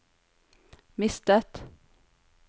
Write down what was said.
mistet